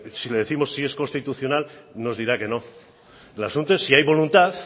si le décimos si es constitucional nos dirá que no el asunto es si hay voluntad